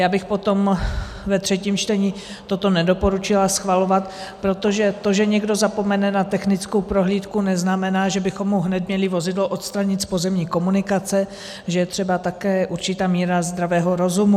Já bych potom ve třetím čtení toto nedoporučila schvalovat, protože to, že někdo zapomene na technickou prohlídku, neznamená, že bychom mu měli hned vozidlo odstranit z pozemní komunikace; že je třeba také určitá míra zdravého rozumu.